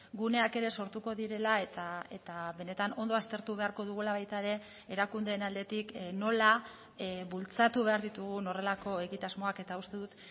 guneak ere sortuko direla eta benetan ondo aztertu beharko dugula baita ere erakundeen aldetik nola bultzatu behar ditugun horrelako egitasmoak eta uste dut